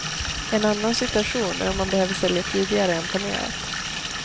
En annan situation är om man behöver sälja tidigare än planerat.